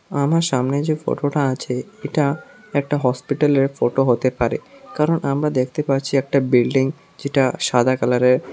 আমার সামনে যে ফোটো টা আছে এটা একটা হসপিটাল এর ফোটো হতে পারে কারণ আমরা দেখতে পারছি একটা বিল্ডিং যেটা সাদা কালার এর।